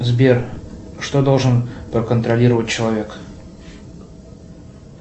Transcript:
сбер что должен проконтролировать человек